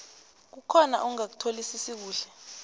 kukhona ongakutholisisi kuhle